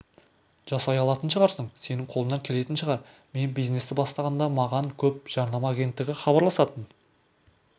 жасай алатын шығарсың сенің қолыңнан келетін шығар мен бизнесті бастағанда маған көп жарнама агенттігі хабарласатын